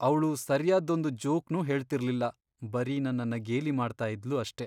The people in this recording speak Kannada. ಅವ್ಳು ಸರ್ಯಾದ್ದೊಂದ್ ಜೋಕ್ನೂ ಹೇಳ್ತಿರ್ಲಿಲ್ಲ, ಬರೀ ನನ್ನನ್ನ ಗೇಲಿ ಮಾಡ್ತಾ ಇದ್ಲು ಅಷ್ಟೇ.